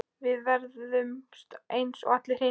Við ferðumst eins og allir hinir.